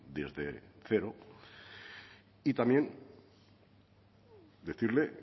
desde cero y también decirle